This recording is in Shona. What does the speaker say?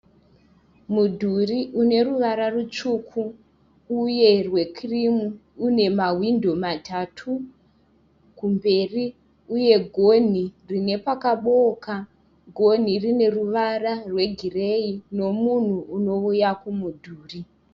Mudhuri une ruvara rutsvuku uye rwekirimu uine mahwindo matatu kumberi. Uye gonhi rine pakabooka gonhi rine ruvara rwegireyi nemunhu unouya kumudhuri.